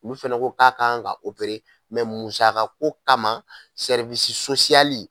Olu fɛnɛ ko k'a kan ka musaka ko kama